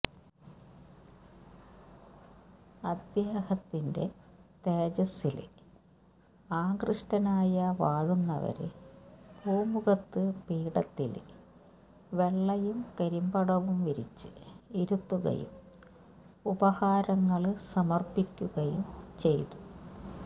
അദ്ദേഹത്തിന്റെ തേജസ്സില് ആകൃഷ്ടനായ വാഴുന്നവര് പൂമുഖത്ത് പീഠത്തില് വെള്ളയും കരിമ്പടവും വിരിച്ച് ഇരുത്തുകയും ഉപഹാരങ്ങള് സമര്പ്പിക്കുകയും ചെയ്തു